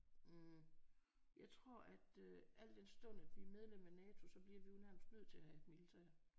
Hm jeg tror at øh al den stund at vi er medlem af Nato så bliver vi jo nærmest nødt til at have et militær